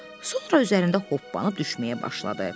Sonra üzərində hoppanıb düşməyə başladı.